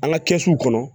An ka kɛsu kɔnɔ